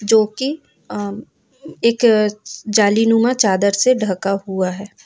जोकि अ एक जालीनुमा चादर से ढका हुआ है।